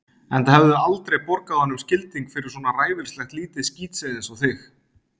Enda hefðum við aldrei borgað honum skilding fyrir svona ræfilslegt lítið skítseiði einsog þig.